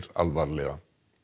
alvarlega